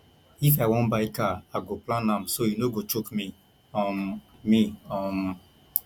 if i wan buy car i go plan am so e no go choke me um me um